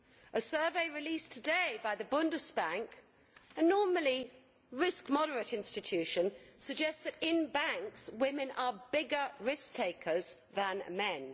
A survey released today by the Bundesbank, a normally risk moderate institution, suggests that in banks women are bigger risk takers than men.